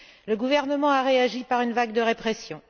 Le gouvernement a réagi par une vague de répression.